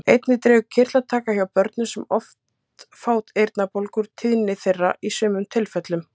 Einnig dregur kirtlataka hjá börnum sem oft fá eyrnabólgur úr tíðni þeirra í sumum tilfellum.